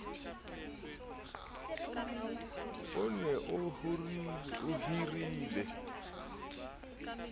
o ne o hirile bahiruwa